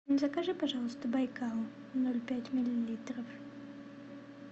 закажи пожалуйста байкал ноль пять миллилитров